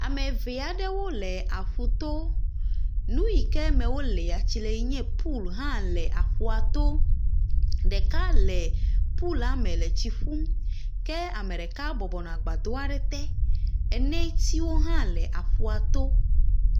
Ame eve aɖewo le aƒu to. Nu ʋi ke me woléa tsi le enye pool hã le aƒua to. Ɖeka le poola me le tsi ƒum ke ameɖeka bɔbɔ nɔ agbadɔ aɖe te. Netsiwo hã le aƒua to.